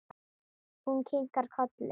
Hún kinkar kolli.